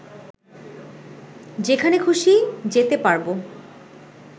যেখানে খুশি যেতে পারবো